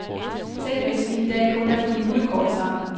Tænk hvis vi en dag kun er på julekort sammen.